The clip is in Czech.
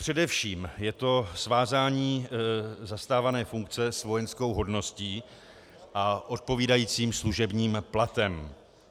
Především je to svázání zastávané funkce s vojenskou hodností a odpovídajícím služebním platem.